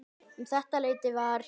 Um þetta leyti var